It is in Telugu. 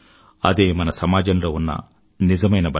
అదే మన సమాజంలో ఉన్న నిజమైన బలం